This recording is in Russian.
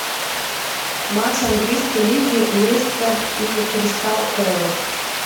матч английской лиги лестер и кристал пэлас